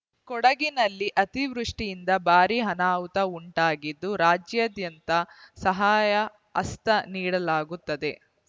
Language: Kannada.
ಕೊಡಗಿನಲ್ಲಿ ಅತಿವೃಷ್ಟಿಯಿಂದ ಭಾರೀ ಅನಾಹುತ ಉಂಟಾಗಿದ್ದು ರಾಜ್ಯಾದ್ಯಂತ ಸಹಾಯ ಹಸ್ತ ನೀಡಲಾಗುತ್ತದೆ